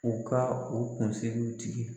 U ka u kunsigiw tigɛ.